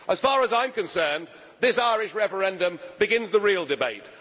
it? As far as I am concerned, this Irish referendum begins the real debate.